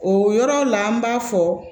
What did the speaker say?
O yɔrɔ la an b'a fɔ